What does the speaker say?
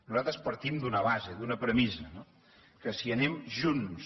nosaltres partim d’una base d’una premissa no que si anem junts